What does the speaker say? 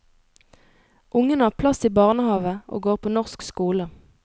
Ungene har plass i barnehave og går på norsk skole.